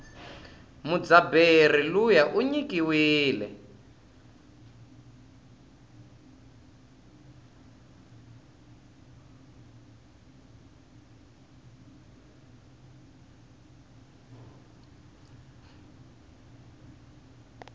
mudzabheri luya inyikiwile